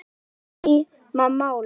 Það yrði seinni tíma mál.